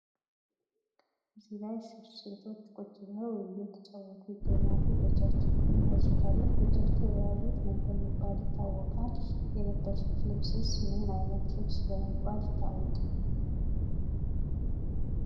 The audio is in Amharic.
እዚህ ላይ ሶስት ሴቶች ቁጭ ብለው እየተጫወቱ ይገኛሉ ። በእጃቸውም የያዙት አለ ። በእጃቸው የያዙት ምን በመባል ይታወቃል? የለበሱት ልብስስ ምን አይነት ልብስ በመባል ይታወቃል?